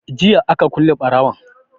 Jiya aka kule ɓarawon